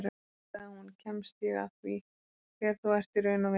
Nú, sagði hún, kemst ég að því hver þú ert í raun og veru